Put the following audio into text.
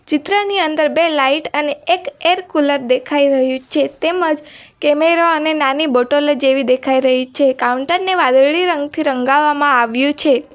ચિત્રની અંદર બે લાઈટ અને એક એર કુલર દેખાય રહ્યું છે તેમજ કેમેરો અને નાની બોટલો જેવી દેખાય રહી છે કાઉન્ટર ને વાદળી રંગથી રંગાવામાં આવ્યું છે.